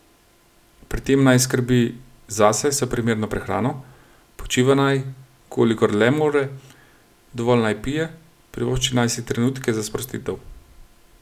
Pri tem naj skrbi zase s primerno prehrano, počiva naj, kolikor le more, dovolj naj pije, privošči naj si trenutke za sprostitev.